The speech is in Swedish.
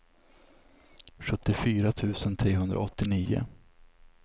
sjuttiofyra tusen trehundraåttionio